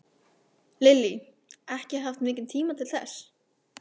Lillý: Ekki haft mikinn tíma til þess?